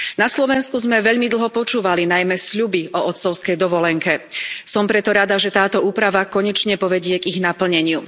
Na Slovensku sme veľmi dlho počúvali najmä sľuby o otcovskej dovolenke. Som preto rada, že táto úprava konečne povedie k ich naplneniu.